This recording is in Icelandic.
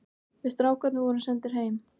Við strákarnir vorum sendir heim.